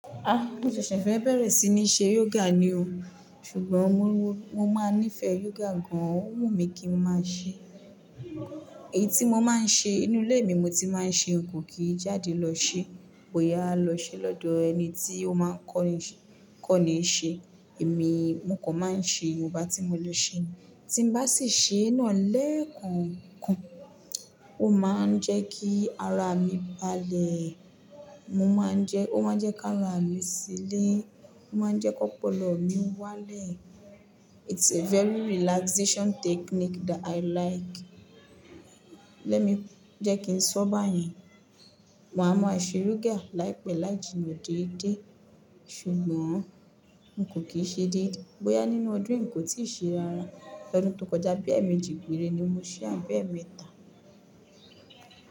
Ah! Mo ṣẹ̀ṣẹ̀ fẹ́ bẹ̀rẹ̀ sí ní ṣe yoga ni o. Ṣùgbọ́n mo máa nífẹ̀ẹ́ yoga gan-an, ó wù mí kí n máa ṣe. Èyí tí mo máa ń ṣe nínú ilé mi, mo ti máa ń ṣe n kò kí jáde lọ ṣe. Wò yá lọ ṣe lọ́dọ̀ ẹni tí ó máa kọ́ ní ṣe. Èmi, mo kò máa ń ṣe, nwonbá ti mọ lọ ṣe. Tí mo bá sì ṣe ná lẹ́ẹ̀konkon, ó máa ń jẹ́ kí ara mi balẹ̀. Mo máa ń jẹ́, ó máa ń jẹ́ kí ara mi sílẹ̀, ó máa ń jẹ́ kó ọpọlọ mi wá lẹ̀. It's a very relaxation technique that I like. Lẹ́mi jẹ́ kí n sọ báyén, màá mọ ṣèé yoga láìpẹ́ láì jìnnà déédé. Ṣùgbọ́n n kò kí ṣe dé. Bò yá nínú ọdún yi, n kò tíì ṣe ẹran. LỌdún tó kọjá bí ẹ̀ẹ̀mejì pére ni mo ṣe àbé mẹ́ta.